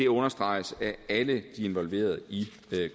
understreges af alle de involverede i